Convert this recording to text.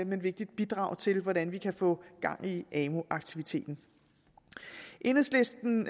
men vigtigt bidrag til hvordan vi kan få gang i amu aktiviteten enhedslisten